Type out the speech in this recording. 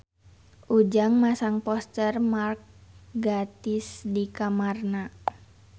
Ujang masang poster Mark Gatiss di kamarna